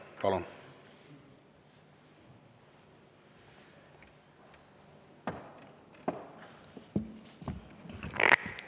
Palun!